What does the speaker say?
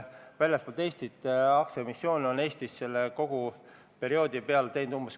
Vabariigi Valitsus algatas meresõiduohutuse seaduse muutmise seaduse eelnõu s.